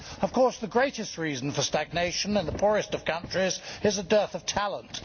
Of course, the greatest reason for stagnation in the poorest of countries is a dearth of talent.